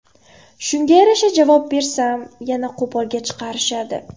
Shunga yarasha javob bersam, yana qo‘polga chiqarishadi.